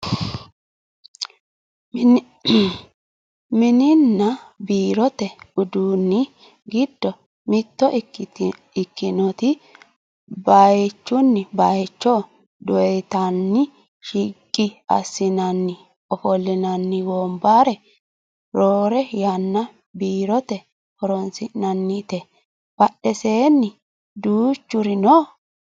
mininna biirote uduunni giddo mitto ikkitinoti bayeechunni bayeecho doyiitanni shiqqi assinani ofollinanni wonbare roore yanna biirote horonsi'nannite badheseenni duuchuri no